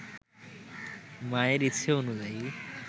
মায়ের ইচ্ছে অনুযায়ী